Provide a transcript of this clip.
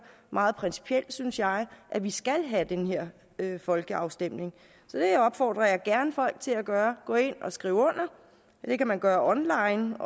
meget principielt synes jeg at vi skal have den her folkeafstemning så det opfordrer jeg gerne folk til at gøre gå ind og skriv under og det kan man gøre online